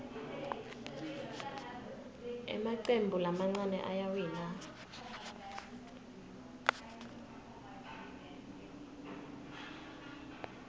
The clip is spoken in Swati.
emacembu lamancane ayawina